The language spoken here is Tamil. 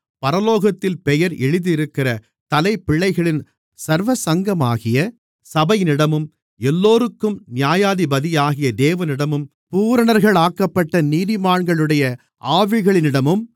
பரலோகத்தில் பெயர் எழுதியிருக்கிற தலைப்பிள்ளைகளின் சர்வசங்கமாகிய சபையினிடமும் எல்லோருக்கும் நியாயாதிபதியாகிய தேவனிடமும் பூரணர்களாக்கப்பட்ட நீதிமான்களுடைய ஆவிகளினிடமும்